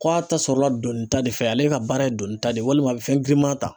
Ko a ta sɔrɔla donni ta de fɛ ale ka baara ye donni ta de ye walima a bɛ fɛn girinma ta.